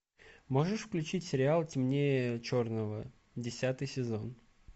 можешь включить сериал темнее черного десятый сезон